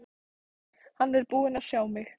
Hann er búinn að sjá mig!